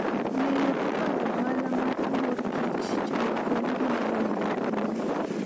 Ng'eyo kaka ohala mar mor kich chalo en gima dwarore ahinya.